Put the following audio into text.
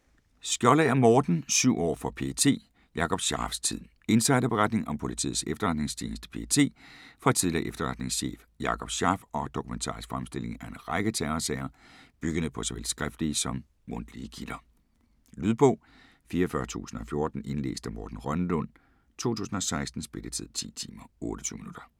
Skjoldager, Morten: Syv år for PET: Jakob Scharfs tid Insiderberetning om Politiets Efterretningstjeneste (PET) fra tidligere efterretningschef Jakob Scharf og dokumentarisk fremstilling af en række terrorsager, byggende på såvel skriftlige som mundtlige kilder. Lydbog 44014 Indlæst af Morten Rønnelund, 2016. Spilletid: 10 timer, 28 minutter.